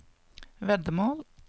veddemål